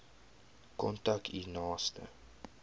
kontak u naaste